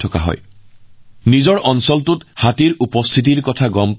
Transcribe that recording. ৰেডিঅৰ জৰিয়তে হাতীৰ জাক এটাৰ আগমনৰ তথ্য লাভ কৰাৰ লগে লগে সজাগ হৈ পৰে